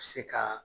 Se ka